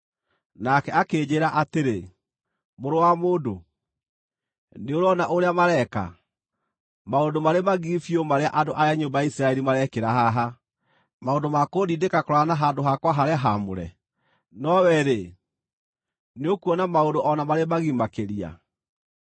Nake akĩnjĩĩra atĩrĩ, “Mũrũ wa mũndũ, nĩũrona ũrĩa mareeka; maũndũ marĩ magigi biũ marĩa andũ a nyũmba ya Isiraeli marekĩra haha, maũndũ ma kũndindĩka kũraya na handũ-hakwa-harĩa-haamũre? No wee-rĩ, nĩũkuona maũndũ o na marĩ magigi makĩria.”